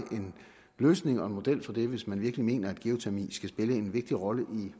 en løsning og en model for det hvis man virkelig mener at geotermi skal spille en vigtig rolle